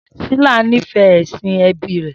Shila nífẹ̀ẹ́ ẹ̀sìn ẹbí rẹ̀